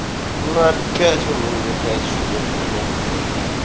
ну опять вы мне намекаете чтобы я бахнул сегодня